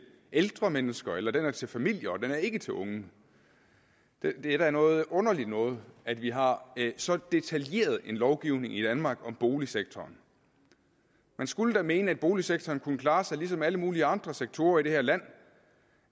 ældre mennesker eller den er til familier og den er ikke til unge det er da noget underligt noget at vi har så detaljeret en lovgivning i danmark om boligsektoren man skulle da mene at boligsektoren kunne klare sig ligesom alle mulige andre sektorer i det her land